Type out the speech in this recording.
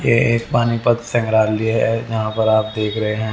ये एक पानीपत संग्राली है जहां पर आप देख रहे हैं--